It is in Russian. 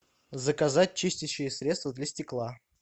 заказать чистящее средство для стекла